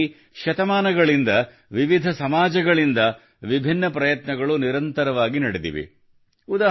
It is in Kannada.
ಇದಕ್ಕಾಗಿ ಶತಮಾನಗಳಿಂದ ವಿವಿಧ ಸಮಾಜಗಳಿಂದ ವಿಭಿನ್ನ ಪ್ರಯತ್ನಗಳು ನಿರಂತರವಾಗಿ ನಡೆದಿವೆ